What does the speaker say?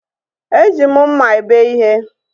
E ji mma ebe ihe